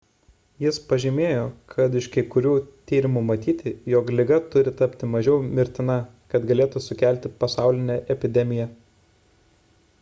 jis pažymėjo kad iš kai kurių tyrimų matyti jog liga turi tapti mažiau mirtina kad galėtų sukelti pasaulinę epidemiją